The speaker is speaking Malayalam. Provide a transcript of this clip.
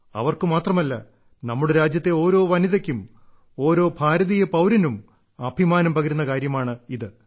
അവർക്കു മാത്രമല്ല നമ്മുടെ രാജ്യത്തെ ഓരോ വനിതയ്ക്കും ഓരോ ഭാരതീയ പൌരനും അഭിമാനം പകരുന്ന കാര്യമാണിത്